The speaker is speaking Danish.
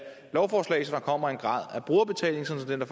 lovforslag så der kommer en grad af brugerbetaling sådan at